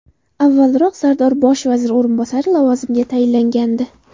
Avvalroq Sardor bosh vazir o‘rinbosari lavozimiga tayinlangandi .